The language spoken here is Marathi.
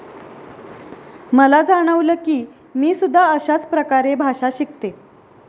मला जाणवलं कि मी सुद्धा अशाच प्रकारे भाषा शिकते.